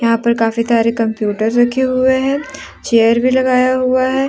यहां पर काफी सारे कंप्यूटर रखे हुए हैं चेयर भी लगाया हुआ है।